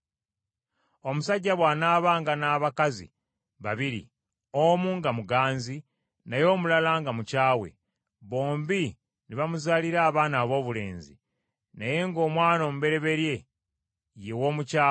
Omusajja bw’anaabanga n’abakazi babiri, omu nga muganzi naye omulala nga mukyawe, bombi ne bamuzaalira abaana aboobulenzi, naye ng’omwana omubereberye ye w’omukyawe;